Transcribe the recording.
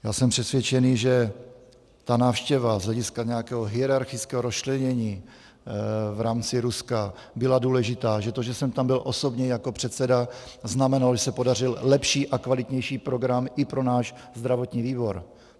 Já jsem přesvědčený, že ta návštěva z hlediska nějakého hierarchického rozčlenění v rámci Ruska byla důležitá, že to, že jsem tam byl osobně jako předseda, znamenalo, že se podařil lepší a kvalitnější program i pro náš zdravotní výbor.